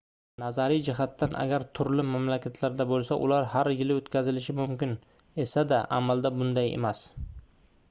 nazariy jihatdan agar turli mamlakatlarda bo'lsa ular har yili o'tkazilishi mumkin esa-da amalda bunday emas